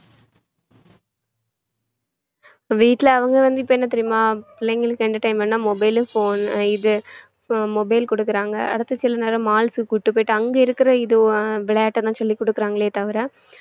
இப்ப வீட்டுல அவங்க வந்து இப்ப என்ன தெரியுமா பிள்ளைங்களுக்கு entertainment ன்னா mobile phon~ இது mobile கொடுக்குறாங்க அடுத்த சில நேரம் malls க்கு கூட்டிட்டு போயிட்டு அங்க இருக்கிற இது விளையாட்டெல்லாம் சொல்லி கொடுக்குறாங்களே தவிர